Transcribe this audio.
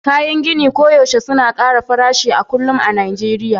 kayan gini koyaushe suna ƙara farashi a kullum a Najeriya